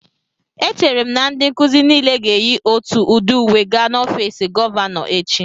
Echere m na ndị nkuzi niile ga-eyi otù udi uwe gaa n'ọfiisi gọvanọ echi